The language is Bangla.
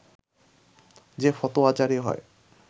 যে ফতোয়া জারি হয়